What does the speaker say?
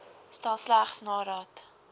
stel slegs nadat